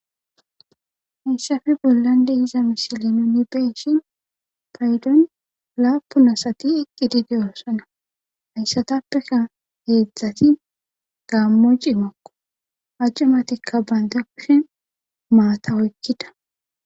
inssafi bollande hiza mishili nunibeeshin paydon laapunasati iqqi dideyoosona hayssatappeka heedzdzati gaammo ci makko hajcumatikka bayndakushe maata oykkida